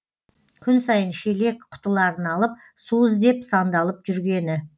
күн сайын шелек құтыларын алып су іздеп сандалып жүргені